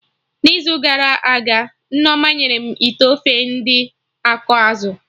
n'izu gara aga, Nneoma nyere m ite ofe ndị na akọ azụ